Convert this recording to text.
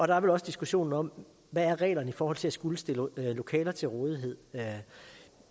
der er vel også diskussionen om hvad reglerne er i forhold til at skulle stille lokaler til rådighed